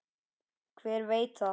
Hver veit það?